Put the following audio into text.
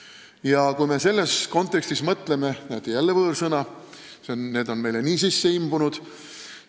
Ja kui me selles kontekstis mõtleme – jälle võõrsõna, need on meile nii sisse imbunud!